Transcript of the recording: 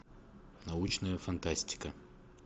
научная фантастика